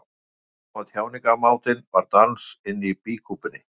Í ljós kom að tjáningarmátinn var dans inni í býkúpunni.